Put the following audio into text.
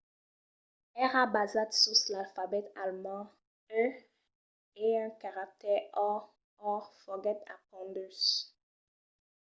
èra basat sus l'alfabet alemand e un caractèr õ/õ foguèt apondut